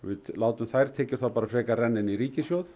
við látum þær tekjur frekar renna inn í ríkissjóð